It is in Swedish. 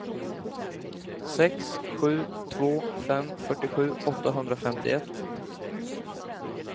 sex sju två fem fyrtiosju åttahundrafemtioett